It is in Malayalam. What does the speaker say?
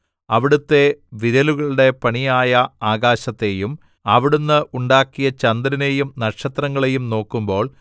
അവിടുത്തെ വിരലുകളുടെ പണിയായ ആകാശത്തെയും അവിടുന്ന് ഉണ്ടാക്കിയ ചന്ദ്രനെയും നക്ഷത്രങ്ങളെയും നോക്കുമ്പോൾ